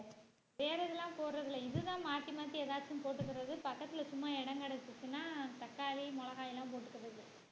வேற எல்லாம் போடறதில்ல இதுதான் மாத்தி மாத்தி ஏதாச்சும் போட்டுகிறது பக்கத்துல சும்மா இடம் கிடைச்சுச்சுனா தக்காளி, மிளகாய்லாம் போட்டுக்கறது